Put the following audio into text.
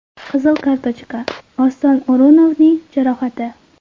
Qizil kartochka, Oston O‘runovning jarohati.